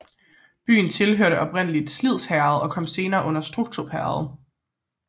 Byen tilhørte oprindlig Sliherred og kom senere under Strukstrup Herred